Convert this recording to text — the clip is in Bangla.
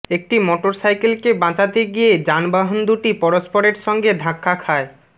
একটি মোটরসাইকেলকে বাঁচাতে গিয়ে যানবাহন দুটি পরস্পরের সঙ্গে ধাক্কা খায়